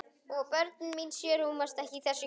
Og börnin mín sjö rúmast ekki í þessu hjarta.